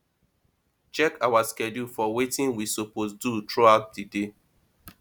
check our schedule for wetin we suppose do throughout di day